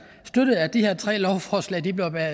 støttet at de her tre lovforslag blev